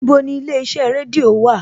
Níbo ni ilé iṣẹ́ rédíò wà?